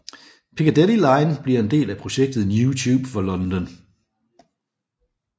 Piccadilly line bliver en del af projektet New Tube for London